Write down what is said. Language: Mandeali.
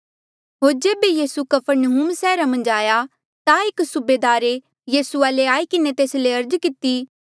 होर जेबे यीसू कफरनहूम सैहरा मन्झ आया ता एक सूबेदारे यीसू वाले आई किन्हें तेस ले अर्ज किती